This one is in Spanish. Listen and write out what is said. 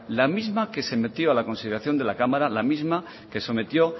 la misma que se metió a la consideración de la cámara la misma que se sometió